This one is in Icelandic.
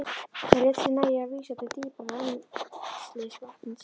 Hann lét sér nægja að vísa til dýpra rennslis vatnsins.